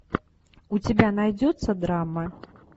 у тебя найдется драма